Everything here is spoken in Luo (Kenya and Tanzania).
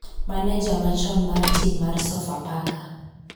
maneja machon mar tim mar sofapaka